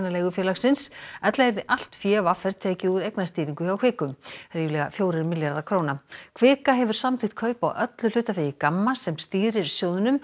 leigufélagsins ella yrði allt fé v r tekið úr eignastýringu hjá Kviku ríflega fjórir milljarðar króna kvika hefur samþykkt kaup á öllu hlutafé í GAMMA sem stýrir sjóðnum